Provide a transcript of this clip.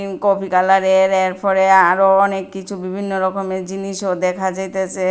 Coffee কালারের এরপরে আরও অনেক কিছু বিভিন্ন রকমের জিনিসও দেখা যাইতেসে।